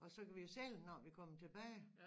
Og så kan vi jo sælge den når vi kommer tilbage